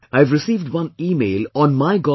I've received one email on MyGov